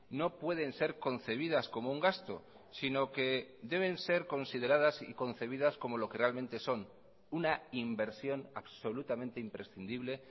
no pueden ser concebidas como un gasto si no que deben ser consideradas y concebidas como lo que realmente son una inversión absolutamente imprescindible